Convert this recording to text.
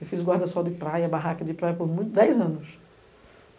Eu fiz guarda-sol de praia, barraca de praia por muito tempo, dez anos.